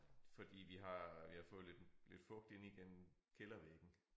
Fordi vi har vi har fået lidt lid fugt ind igennem kældervæggen